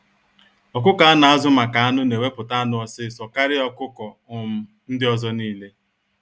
Ọkụkọ a na-azu maka anụ na eweputa anụ ọsịsọ karịa ọkụkọ um ndị ọzọ n'ile.